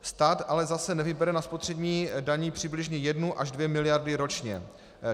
Stát ale zase nevybere na spotřební dani přibližně jednu až dvě miliardy ročně.